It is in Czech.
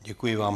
Děkuji vám.